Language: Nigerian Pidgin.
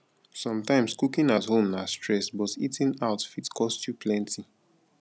sometimes cooking at home na stress but eating out fit cost you plenty